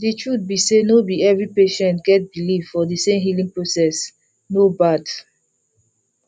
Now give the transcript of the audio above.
the truth be say no be every patients get believe for the same healing processe no bad